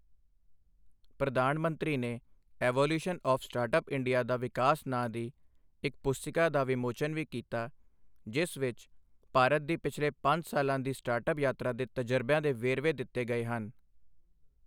ਪ੍ਰਧਾਨ ਮੰਤਰੀ ਨੇ ਈਵੌਲਿਊਸ਼ਨ ਆਫ ਸਟਾਰਟਅੱਪ ਇੰਡੀਆ ਦਾ ਵਿਕਾਸ ਨਾਂਅ ਦੀ ਇੱਕ ਪੁਸਤਿਕਾ ਦਾ ਵਿਮੋਚਨ ਵੀ ਕੀਤਾ, ਜਿਸ ਵਿੱਚ ਭਾਰਤ ਦੀ ਪਿਛਲੇ ਪੰਜ ਸਾਲਾਂ ਦੀ ਸਟਾਰਟਅੱਪ ਯਾਤਰਾ ਦੇ ਤਜਰਬਿਆਂ ਦੇ ਵੇਰਵੇ ਦਿੱਤੇ ਗਏ ਹਨ।